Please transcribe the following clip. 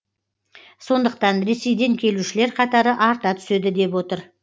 сондықтан ресейден келушілер қатары арта түседі деп отыр